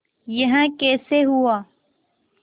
यह कैसे हुआ